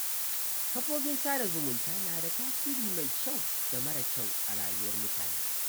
Kafofin sada zumunta na da tasiri mai kyau da mara kyau a rayuwar mutane.